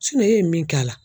e ye min k'a la